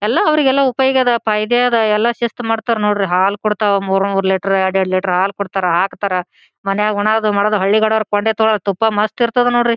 ಎಲ್ಲಾ ಅವ್ರಿಗೆಲ್ಲಾ ಉಪಯೋಗ ಅದ್ ಪಾ ಐಡಿಯಾ ಅದ್ ಎಲ್ಲಾ ಶಿಸ್ತ ಮಾಡತರ್ ನೋಡ್ರಿ ಹಾಲ್ ಕೊಡತ್ವ್ ಮೂರ್ ಮೂರ್ ಲೀಟರ್ ಎರಡ್ ಎರಡ್ ಲೀಟರ್ ಹಾಲ್ ಕೊಡತ್ತರ್ ಹಾಕತ್ತರ್ ಮನೆಗ್ ಉಣೊದು ಮಾಡೋದು ಹಳ್ಳಿಕಡೆಯವ್ರ್ ಕೊಂಡಿ ತೋಲ್ಡ್ ತುಪ್ಪ ಮಸ್ತ ಇರತ್ತದ್ ನೋಡ್ರಿ.